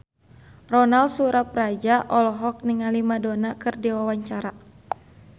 Ronal Surapradja olohok ningali Madonna keur diwawancara